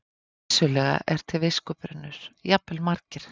Vissulega er til viskubrunnur, jafnvel margir.